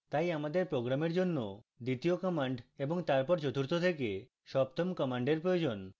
তাই আমাদের program জন্য দ্বিতীয় command এবং তারপর চতুর্থ থেকে সপ্তম command প্রয়োজন